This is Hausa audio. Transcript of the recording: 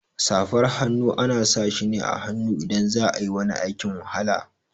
Safar hannu ana sashi ne a hannu idan za'ayi wani aikin wahala.